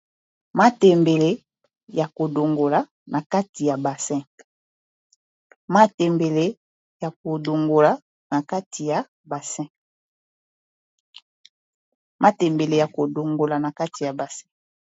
Matembele ya kodongola na kati ya basin.